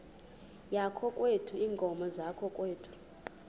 yakokwethu iinkomo zakokwethu